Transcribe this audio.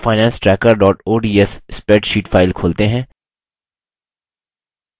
अपनी personalfinancetracker ods spreadsheet file खोलते हैं